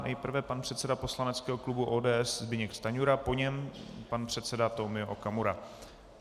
Nejprve pan předseda poslaneckého klubu ODS Zbyněk Stanjura, po něm pan předseda Tomio Okamura.